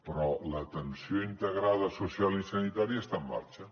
però l’atenció integrada social i sanitària està en marxa